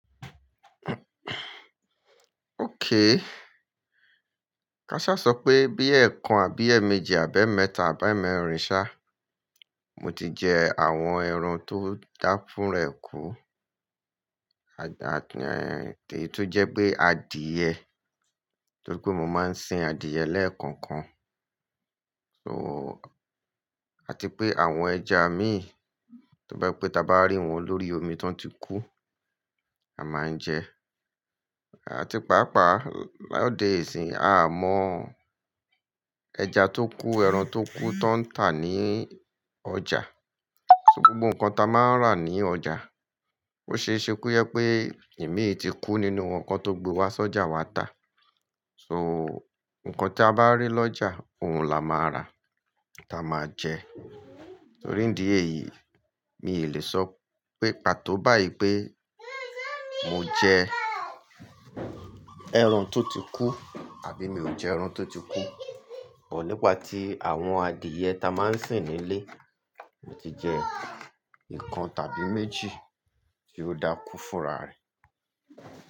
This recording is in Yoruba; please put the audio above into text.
Okay. K'asha sọ pé bí ẹ̀ẹ̀kan àbí ẹ̀ẹ̀méjì àbẹi emẹ́ta àbi emẹ́rin sá, mo ti jẹ àwọn ẹran tó dáfún ra ẹ̀ kú, àti èyí tó jẹ́ pé adìẹ torí pé mo máa ń sìn adìẹ lẹ́ẹ̀kan kan. So, àti pé àwọn ẹja mi, tó bá pẹ́ tá bá rí wọn lórí omi tó ń ti kú, a máa ń jẹ. Àti pàápàá lọ́de ìsìn yii, a o mọ ẹja tó kú, ẹran tó kú tó ń tà ní ọjà. So gbogbo nǹkan tí a máa ń rà ní ọjà, ó ṣe é ṣe kojepé ìmí ti kú nínú wọn kí won tó gbé wá sí ọjà wá tà. So, nǹkan tí a bá rí lọ́jà, òun la máa rà, tí a máa jẹ. Torí ìdí èyí, mi ò lè sọ pé pàtó báyìí pé mo jẹ ẹran tó ti kú àbí mi ò jẹ ẹran tó ti kú. But nípa tí àwọn adìẹ tí a máa ń sìn nílé, mo ti jẹ ìkan tàbí méjì tí ó dákú fúnra rẹ̀.